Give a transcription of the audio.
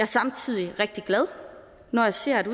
samtidig rigtig glad når jeg ser at